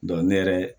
ne yɛrɛ